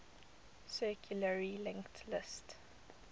circularly linked list